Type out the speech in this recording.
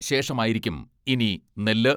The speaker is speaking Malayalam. ശേഷമായിരിക്കും ഇനി നെല്ല്